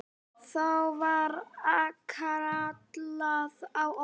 Þá var kallað á okkur.